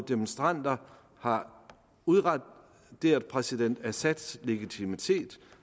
demonstranter har udraderet præsidents assads legitimitet